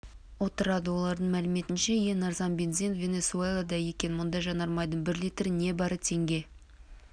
отырады олардың мәліметінше ең арзан бензин венесуэлада екен мұнда жанармайдың бір литрі не бары теңге